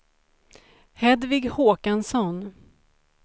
Hedvig Håkansson